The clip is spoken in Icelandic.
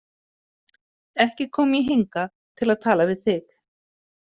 Ekki kom ég hingað til að tala við þig.